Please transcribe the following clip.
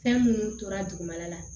Fɛn minnu tora dugumana la